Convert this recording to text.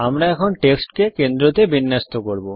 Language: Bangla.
আমরা টেক্সটকে কেন্দ্রতে বিন্যস্ত করব